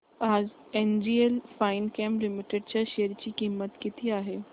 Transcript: आज NGL Finechem limited च्या share ची किंमत किती आहे